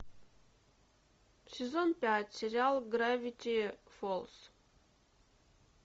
сезон пять сериал гравити фолз